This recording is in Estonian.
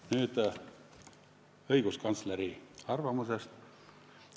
Nüüd õiguskantsleri arvamusest.